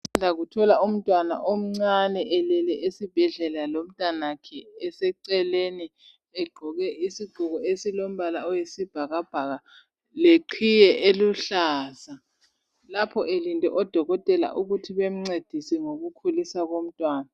Usanda kuthola umntwana omncane elele esibhedlela lomntanakhe eseceleni egqoke isigqoko esilombala oyisibhakabhaka leqhiye eluhlaza lapho elinde odokotela ukuthi bemncedise ngokukhuliswa komntwana.